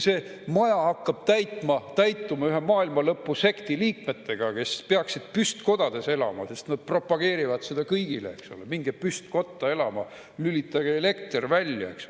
See maja hakkab täituma ühe maailmalõpusekti liikmetega, kes peaksid püstkodades elama, sest nad propageerivad kõigile, eks ole, et minge püstkotta elama ja lülitage elekter välja.